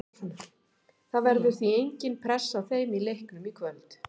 Það verður því engin pressa á þeim í leiknum í kvöld.